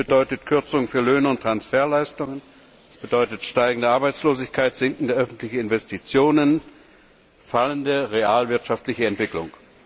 Es bedeutet Kürzungen für Löhne und Transferleistungen, steigende Arbeitslosigkeit, sinkende öffentliche Investitionen, eine fallende realwirtschaftliche Entwicklung.